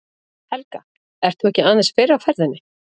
Helga: Ert þú ekki aðeins fyrr á ferðinni?